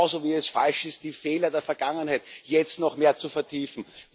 Genauso wie es falsch ist, die Fehler der Vergangenheit jetzt noch mehr zu vertiefen.